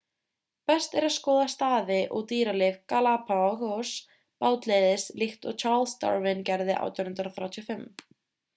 best er að skoða staði og dýralíf galapagos bátleiðis líkt og charles darwin gerði árið 1835